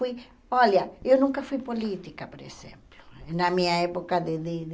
Fui, olha, eu nunca fui política, por exemplo, na minha época de dele.